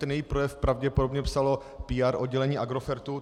Ten její projev pravděpodobně psalo PR oddělení Agrofertu.